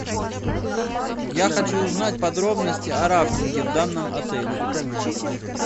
я хочу узнать подробности о рафтинге в данном отеле